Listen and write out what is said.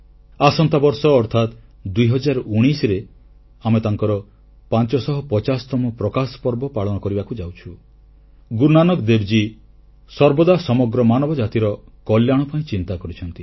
ଆସନ୍ତା ବର୍ଷ ଅର୍ଥାତ୍ 2019ରେ ଆମେ ତାଙ୍କର 550ତମ ପ୍ରକାଶ ପର୍ବ ପାଳନ କରିବାକୁ ଯାଉଛୁ ଗୁରୁନାନାକ ଦେବ ସର୍ବଦା ସମଗ୍ର ମାନବ ଜାତିର କଲ୍ୟାଣ ପାଇଁ ଚିନ୍ତା କରିଛନ୍ତି